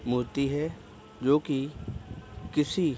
मूर्ति है जो कि किसी --